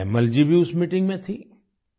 तायम्मल जी भी उस मीटिंग में थे